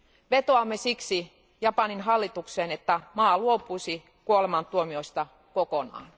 Vetoamme siksi Japanin hallitukseen, että maa luopuisi kuolemantuomioista kokonaan.